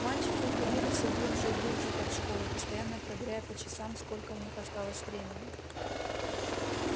мальчики уходили всё глубже и глубже под школу постоянно проверяя по часам сколько у них осталось времени